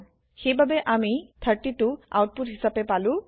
সেইবাবে আমি 32 output হিচাপে পালো